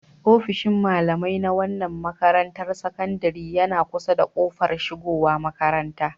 Ofishin malamai na wannan makarantar sakandaren yana kusa da kofar shigowa makaranta.